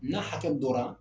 N'a hakɛ dɔ